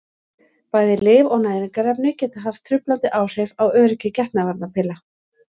Bæði lyf og næringarefni geta haft truflandi áhrif á öryggi getnaðarvarnarpilla.